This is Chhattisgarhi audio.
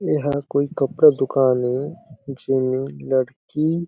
एहा कोई कपड़ा दुकान ए जेमे लड़की--